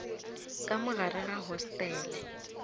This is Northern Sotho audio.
ka mo gare ga hostele